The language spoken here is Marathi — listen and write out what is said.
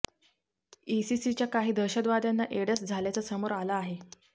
इसीसीच्या काही दहशतवाद्यांना एडस झाल्याचं समोर आलं आहे